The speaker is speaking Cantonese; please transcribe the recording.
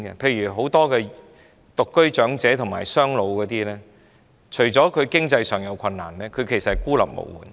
例如很多獨居長者及"雙老"家庭，除了經濟困難外，事實上亦孤立無援。